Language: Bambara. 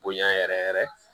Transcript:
Bonya yɛrɛ yɛrɛ yɛrɛ